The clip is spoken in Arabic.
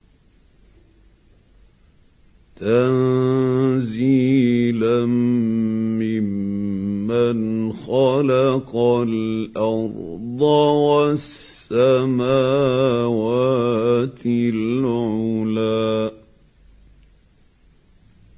تَنزِيلًا مِّمَّنْ خَلَقَ الْأَرْضَ وَالسَّمَاوَاتِ الْعُلَى